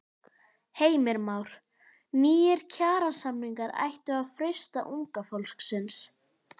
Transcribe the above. Heimir Már: Nýir kjarasamningar ættu að freista unga fólksins?